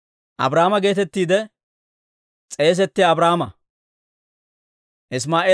Abrahaama geetettiide s'eesettiyaa Abraama.